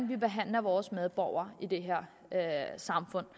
vi behandler vores medborgere i det her samfund